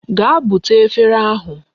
Gaa bute efere ahụ.